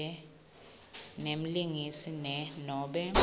nemlingisi ne nobe